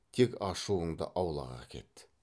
тек ашуыңды аулақ әкет